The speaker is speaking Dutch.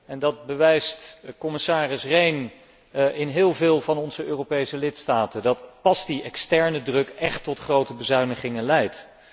En dat bewijst commissaris Rehn in heel veel van onze Europese lidstaten, dat pas die externe druk echt tot grote bezuinigingen leidt.